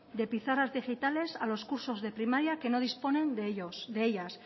de pizarras digitales a los cursos de primaria que no disponen de ellas